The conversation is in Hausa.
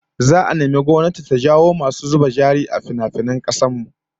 Za'a nemi gwamnati ta jawo masu zuba jari a finafinai a kasar mu